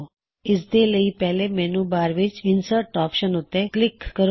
ਇਸ ਦੇ ਲਈ ਪਹਿਲੇ ਮੈੱਨੂ ਬਾਰ ਵਿੱਚ ਇਨਸਰਟ ਆਪਸ਼ਨ ਉੱਤੇ ਕਲਿੱਕ ਕਰੋ